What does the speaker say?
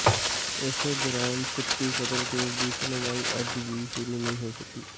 ਇਸੇ ਦੌਰਾਨ ਸਿੱਪੀ ਕਤਲ ਕੇਸ ਦੀ ਸੁਣਵਾਈ ਅੱਜ ਵੀ ਸ਼ੁਰੂ ਨਹੀਂ ਹੋ ਸਕੀ